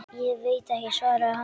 Ég veit ekki, svaraði hann.